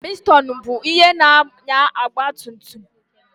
Pistonụ bụ ihe na-ànyà shankkraftụ ọgbatumtum.